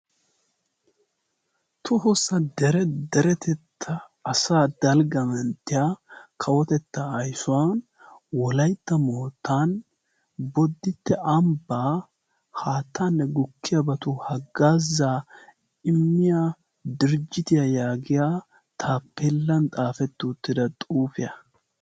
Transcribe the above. tohossa deretetta asaa dalgga menttiya kawotettaa ayssuwan wolaytta moottan boditte ambbaa haattaanne gukkiyaabatu haggaa zaa immiya dirjjitiyaa yaagiya taappeellan xaafetti uttida xuufiyaa